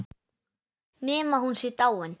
Nema hún sé dáin.